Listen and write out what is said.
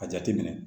A jateminɛ